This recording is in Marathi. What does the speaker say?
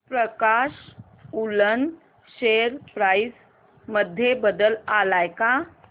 प्रकाश वूलन शेअर प्राइस मध्ये बदल आलाय का